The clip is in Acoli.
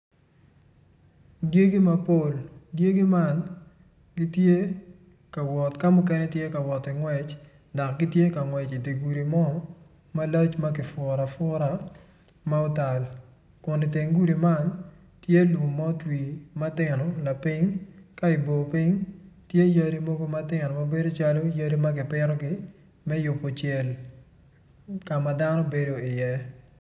Dyegi mapol dyegi man gitye ka wot ka mukene tye ka woti ngwec dok gitye ka ngwec i di gudu mo ma lac ma kifura fura ma otal kun iteng gudi man tye lum ma otwi matino lapiny ka ibor piny tye yadi mogo matino ma bedo calo yadi ma gipitogi me yubu cel ka ma dano bedo iye